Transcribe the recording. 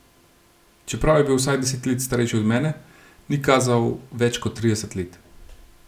Čeprav je bil vsaj deset let starejši od mene, ni kazal več kot trideset let.